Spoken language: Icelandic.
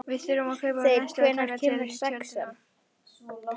Þeyr, hvenær kemur sexan?